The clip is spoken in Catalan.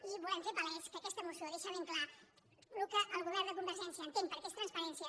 i volem fer palès que aquesta moció deixa ben clar el que el govern de convergència entén que és transparència